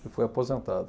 Ele foi aposentado.